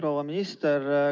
Proua minister!